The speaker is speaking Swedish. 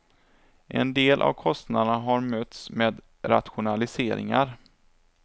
En del av kostnaderna har mötts med rationaliseringar.